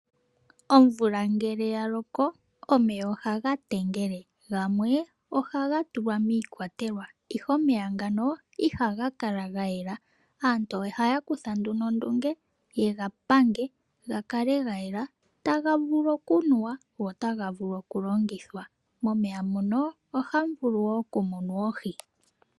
Omvula ngele ya loko, omeya ohaga tengele. Gamwe oha ga tulwa miikwatelwa ihe omeya ngano iha ga kala gayela. Aantu ohaa kutha nduno ondunge ye ga pange ga kale ga yela taga vulu okunuwa go ota ga vulu okulongithwa. Momeya muno ohamu vulu woo okumunwa oohi.